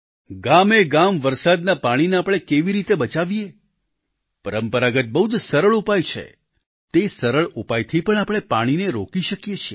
ગામેગામ વરસાદના પાણીને આપણે કેવી રીતે બચાવીએ પરંપરાગત બહુ જ સરળ ઉપાય છે તે સરળ ઉપાયથી પણ આપણે પાણીને રોકી શકીએ છીએ